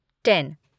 ten